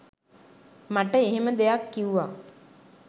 මට මෙහෙම දෙයක් කිව්ව